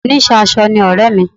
oníṣẹ́ aṣọ ni ọ̀rẹ́ mi